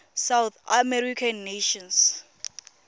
south american nations